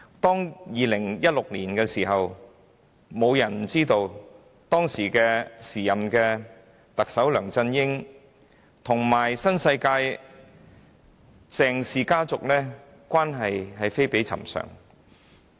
在2016年，沒有人不知道時任特首的梁振英與新世界鄭氏家族的關係非比尋常。